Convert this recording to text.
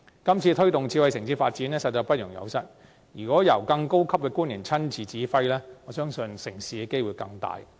今次推動智慧城市的發展實在不容有失，如果由更高級的官員親自指揮，我相信成事的機會更高。